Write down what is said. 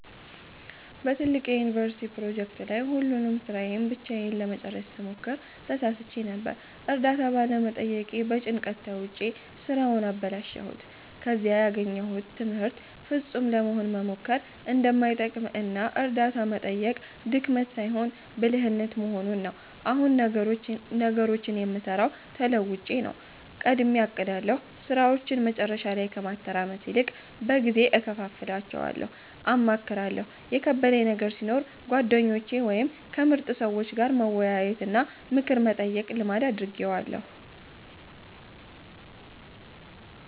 በትልቅ የዩኒቨርሲቲ ፕሮጀክት ላይ ሁሉንም ሥራ ብቻዬን ለመጨረስ ስሞክር ተሳስቼ ነበር። እርዳታ ባለመጠየቄ በጭንቀት ተውጬ ሥራውን አበላሸሁት። ከዚህ ያገኘሁት ትምህርት ፍጹም ለመሆን መሞከር እንደማይጠቅም እና እርዳታ መጠየቅ ድክመት ሳይሆን ብልህነት መሆኑን ነው። አሁን ነገሮችን የምሠራው ተለውጬ ነው፦ ቀድሜ አቅዳለሁ፦ ሥራዎችን መጨረሻ ላይ ከማተራመስ ይልቅ በጊዜ እከፋፍላቸዋለሁ። አማክራለሁ፦ የከበደኝ ነገር ሲኖር ከጓደኞቼ ወይም ከምርጥ ሰዎች ጋር መወያየትና ምክር መጠየቅን ልማድ አድርጌዋለሁ።